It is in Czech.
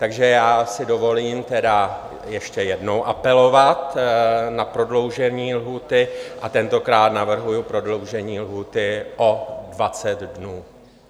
Takže já si dovolím tedy ještě jednou apelovat na prodloužení lhůty, a tentokrát navrhuji prodloužení lhůty o 20 dnů.